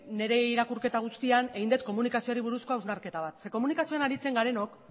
nire irakurketa guztian egin dut komunikazioari buruzko hausnarketa bat zeren komunikazioan aritzen garenok